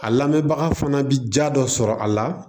A lamɛnbaga fana bɛ ja dɔ sɔrɔ a la